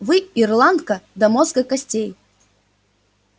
вы ирландка до мозга костей